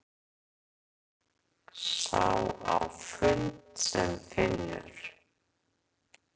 Sá á fund sem finnur!